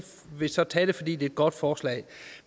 vil så tage det fordi det er et godt forslag